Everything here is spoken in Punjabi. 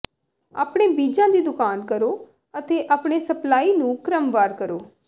ਆਪਣੇ ਬੀਜਾਂ ਦੀ ਦੁਕਾਨ ਕਰੋ ਅਤੇ ਆਪਣੇ ਸਪਲਾਈ ਨੂੰ ਕ੍ਰਮਵਾਰ ਕਰੋ